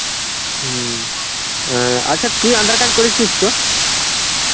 হম, অ্যাঁ আচ্ছা তুই aadhar card করেছিস তো?